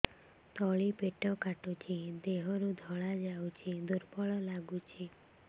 ତଳି ପେଟ କାଟୁଚି ଦେହରୁ ଧଳା ଯାଉଛି ଦୁର୍ବଳ ଲାଗୁଛି